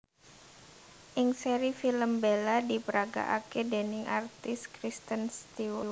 Ing seri film Bella diparagakaké déning artis Kristen Stewart